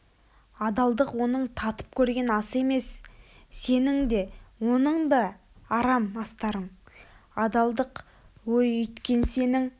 адалдық оның татып көрген асы емес сенің де оның да арам астарың адалдық ой үйткен сенің